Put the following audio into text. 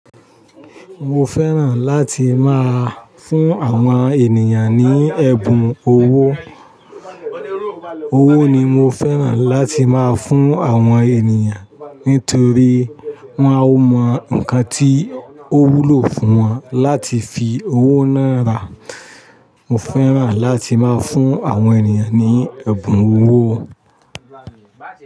Mo fẹ́ràn láti máa fún àwọn ènìyàn ní ẹ̀bùn owó. Owó ni mo fẹ́ràn láti máa fún àwọn ènìyàn nítorí wọ́n á mọ nǹkan tí ó wúlò fún wọn láti fi owó náà rà. Mo fẹ́ràn láti máa fún àwọn ènìyàn ní ẹ̀bùn owó.